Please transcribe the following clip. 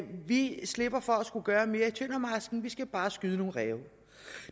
vi slipper for at skulle gøre mere i tøndermarsken vi skal bare skyde nogle ræve